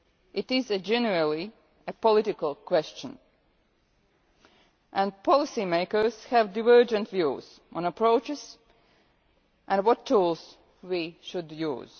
It is a generally political question and policymakers have divergent views on approaches and what tools we should use.